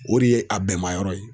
O de ye a bɛn mayɔrɔ ye